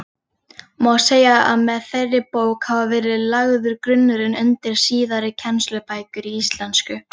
Má segja að með þeirri bók hafi verið lagður grunnurinn undir síðari kennslubækur í íslensku.